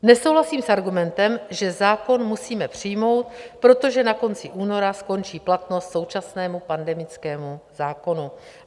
Nesouhlasím s argumentem, že zákon musíme přijmout, protože na konci února skončí platnost současnému pandemickému zákonu.